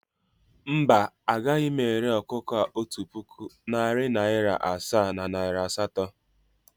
Mba, agaghị m ere ọkụkọ a otu puku, narị naịra asaa na naịra asatọ